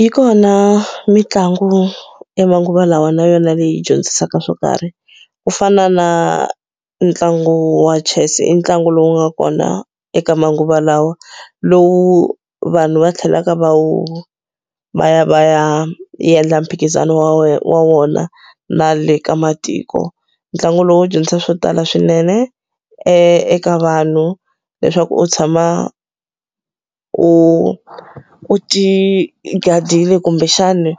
Yi kona mitlangu ya manguva lawa na yona leyi dyondzisaka swo karhi ku fana na ntlangu wa chess i ntlangu lowu nga kona eka manguva lawa lowu vanhu va tlhelaka va wu va ya va ya endla mphikizano wa wona na le ka matiko ntlangu lowu dyondzisa swo tala swinene eka vanhu leswaku u tshama u u ti gadile kumbexana